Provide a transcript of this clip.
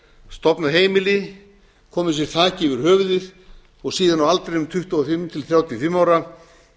stofnað heimili komið sér þaki yfir höfuðið og síðan á aldrinum tuttugu og fimm til þrjátíu og fimm ára